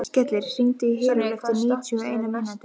Skellir, hringdu í Herúlf eftir níutíu og eina mínútur.